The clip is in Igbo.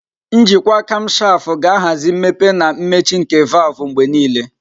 Njikwa kamshafu ga-ahazi mmepe na mmechi nke valvu mgbe niile.